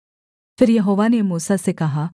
फिर यहोवा ने मूसा से कहा